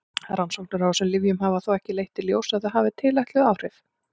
Rannsóknir á þessum lyfjum hafa þó ekki leitt í ljós að þau hafi tilætluð áhrif.